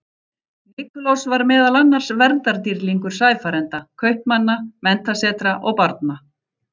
Nikulás var meðal annars verndardýrlingur sæfarenda, kaupmanna, menntasetra og barna.